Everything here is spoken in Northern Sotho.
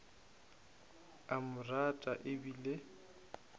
a mo rata e bile